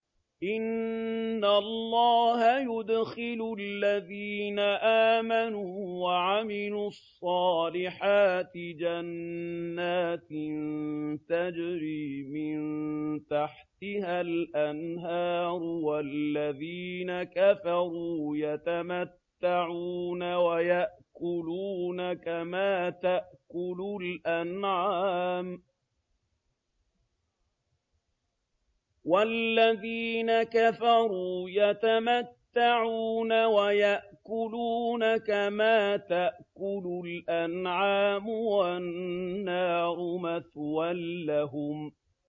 إِنَّ اللَّهَ يُدْخِلُ الَّذِينَ آمَنُوا وَعَمِلُوا الصَّالِحَاتِ جَنَّاتٍ تَجْرِي مِن تَحْتِهَا الْأَنْهَارُ ۖ وَالَّذِينَ كَفَرُوا يَتَمَتَّعُونَ وَيَأْكُلُونَ كَمَا تَأْكُلُ الْأَنْعَامُ وَالنَّارُ مَثْوًى لَّهُمْ